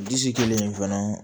Disi kelen fana